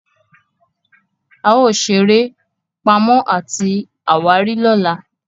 ao sere eré Pàmò àti àwárí lọla.